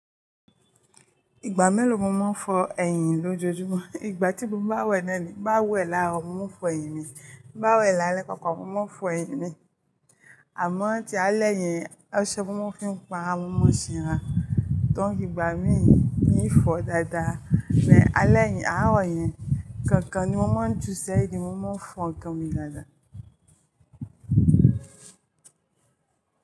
Ìgbà mélòó mo máa ń fọ ẹyìn lójojúmọ́? Ìgbà tí mo bá wẹ̀ náà ni. Bá wẹ̀ láàárọ̀, mo fọ ẹyìn mi. Bá wẹ̀ lálẹ́ kankan, mo máa fọ ẹyìn mi. Àmọ́ tí alẹ́ yẹn, ọṣẹ mo máa ń fi ń pa wọ́n mọ́ ṣinra, tó ń fi ìgbà mí mii fọ dáadáa. Ni alẹ́ yẹn, àárọ̀ yẹn kankan ni mo máa ń ju ṣẹ́yìn mi, mo máa ń fọ ọkàn mi dáadáa.